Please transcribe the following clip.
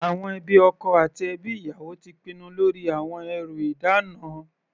Àwọn ẹbí ọkọ àti ẹbí ìyàwó ti pinnu lórí àwọn ẹrú ìdána.